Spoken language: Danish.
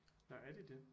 Nåh er de det